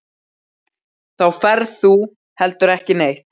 Þá ferð þú heldur ekki neitt.